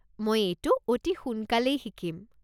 মই এইটো অতি সোনকালেই শিকিম।